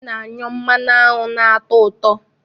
Aṅụ na-anyụ mmanụ aṅụ ná-atọ ụtọ.